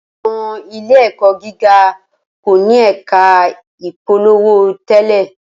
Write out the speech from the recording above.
Awọn ile-ẹkọ giga ko ni ẹka ipolowo tẹlẹ